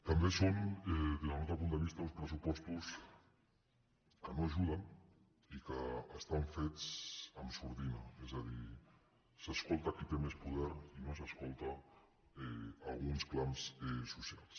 també són des del nostre punt de vista uns pressupostos que no ajuden i que estan fets amb sordina és a dir s’escolta qui té més poder i no s’escola alguns clams socials